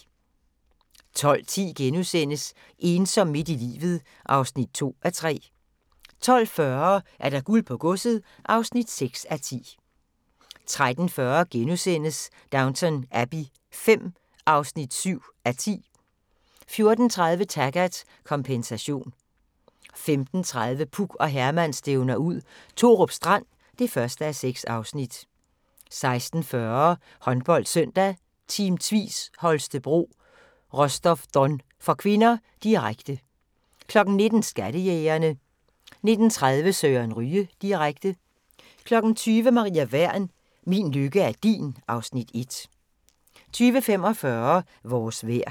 12:10: Ensom midt i livet (2:3)* 12:40: Guld på godset (6:10) 13:40: Downton Abbey V (7:10)* 14:30: Taggart: Kompensation 15:40: Puk og Herman stævner ud – Thorup Strand (1:6) 16:40: HåndboldSøndag: Team Tvis Holstebro-Rostov Don (k), direkte 19:00: Skattejægerne 19:30: Søren Ryge direkte 20:00: Maria Wern: Min lykke er din (Afs. 1) 20:45: Vores vejr